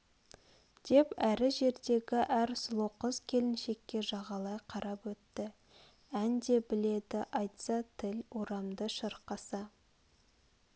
деп әрі жердегі әр сұлу қыз-келіншекке жағалай қарап өтті ән де біледі айтса тіл орамды шырқаса